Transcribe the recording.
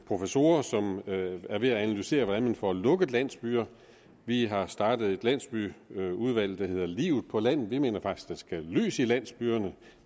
professorer som er ved at analysere hvordan man får lukket landsbyer vi har startet et landsbyudvalg der hedder livet på landet vi mener faktisk at der skal lys i landsbyerne at